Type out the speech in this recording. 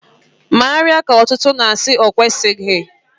Mmerịa k'ọtụtụ na-asị na ọkwụzịghị.